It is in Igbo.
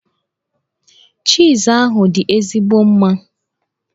Chiiz ahụ dị ezigbo mma.